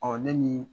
ne ni